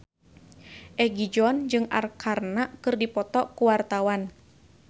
Egi John jeung Arkarna keur dipoto ku wartawan